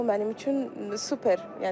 Bu mənim üçün super.